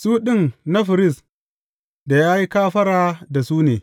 Su ɗin na firist da ya yi kafara da su ne.